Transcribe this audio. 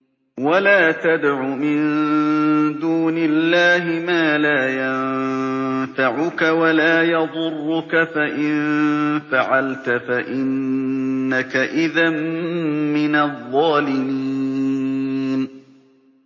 وَلَا تَدْعُ مِن دُونِ اللَّهِ مَا لَا يَنفَعُكَ وَلَا يَضُرُّكَ ۖ فَإِن فَعَلْتَ فَإِنَّكَ إِذًا مِّنَ الظَّالِمِينَ